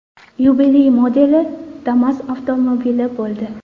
Yubiley modeli Damas avtomobili bo‘ldi.